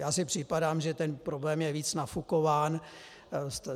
Já si připadám, že ten problém je víc nafukován.